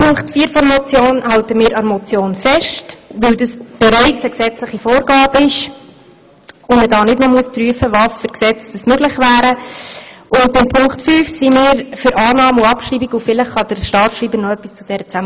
In Punkt vier des Vorstosses halten wir an der Motion fest, weil dies bereits eine gesetzliche Vorgabe ist und man hier nicht noch prüfen muss, welche Gesetze dafür möglich wären.